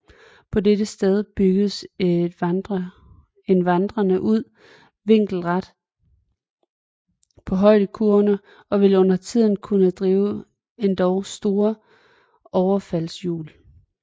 På dette sted bygges en vandrende ud vinkelret på højdekurverne og vil undertiden kunne drive endog store overfaldshjul